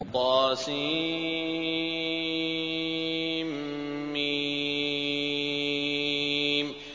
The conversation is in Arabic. طسم